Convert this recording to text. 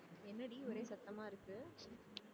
என்னடி ஒரே சத்தமா இருக்கு